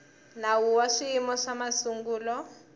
nawu wa swiyimo swa masungulo